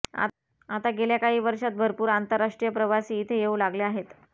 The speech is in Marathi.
आता गेल्या काही वर्षांत भरपूर आंतरराष्ट्रीय प्रवासी इथे येऊ लागले आहेत